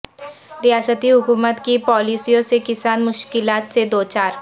ریاستی حکومت کی پالیسیوں سے کسان مشکلات سے دوچار